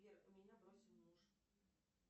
сбер меня бросил муж